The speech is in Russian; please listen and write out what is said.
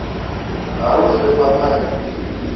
оружие по найму